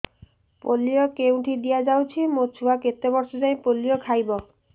polio କେଉଁଠି ଦିଆଯାଉଛି ମୋ ଛୁଆ କେତେ ବର୍ଷ ଯାଏଁ ପୋଲିଓ ଖାଇବ